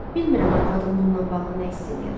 Bilmirəm arvadım bundan bağlı nə hiss eləyər?